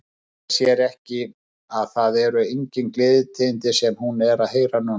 Leynir sér ekki að það eru engin gleðitíðindi sem hún er að heyra núna.